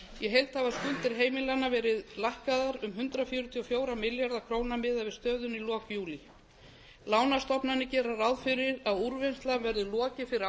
í heild hafa skuldir heimilanna verið lækkaðar um hundrað fjörutíu og fjóra milljarða króna miðað við stöðuna í lok júlí lánastofnanir gera ráð fyrir að úrvinnslu verði lokið fyrir